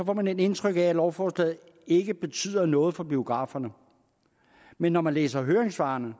får man indtryk af at lovforslaget ikke betyder noget for biograferne men når man læser høringssvarene